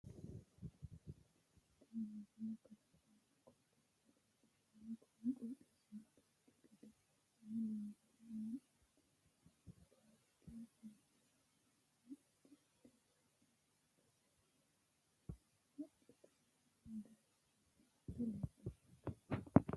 tini misile kalaqonna qooxeessa leellishshanno kuni qooxeessuno dancha gede assine loonsanni hee'noonniha paarke lawannowanna addi addi base haqqetenni doyyeessinoonnita leellishshannote